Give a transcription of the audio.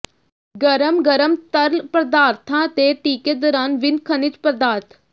ਗਰਮ ਗਰਮ ਤਰਲ ਪਦਾਰਥਾਂ ਦੇ ਟੀਕੇ ਦੌਰਾਨ ਵੀਨ ਖਣਿਜ ਪਦਾਰਥ